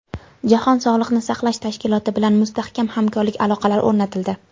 Jahon sog‘liqni saqlash tashkiloti bilan mustahkam hamkorlik aloqalari o‘rnatildi.